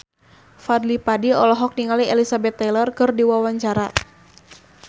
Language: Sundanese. Fadly Padi olohok ningali Elizabeth Taylor keur diwawancara